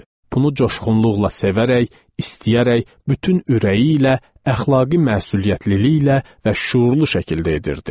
Bunu coşğunluqla sevərək, istəyərək, bütün ürəyi ilə, əxlaqi məsuliyyətliliklə və şüurlu şəkildə edirdi.